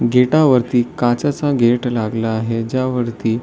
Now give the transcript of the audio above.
गेटावरती काचेचा गेट लागला आहे ज्यावरती--